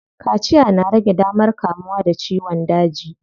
Kaciya na rage damar kamuwa da ciyon daji.